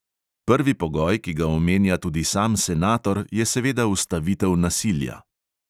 Prvi pogoj, ki ga omenja tudi sam senator, je seveda ustavitev nasilja.